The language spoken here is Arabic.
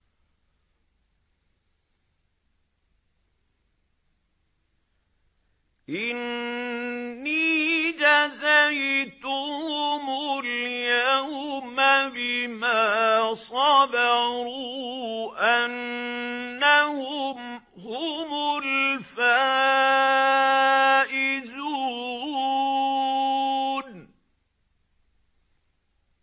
إِنِّي جَزَيْتُهُمُ الْيَوْمَ بِمَا صَبَرُوا أَنَّهُمْ هُمُ الْفَائِزُونَ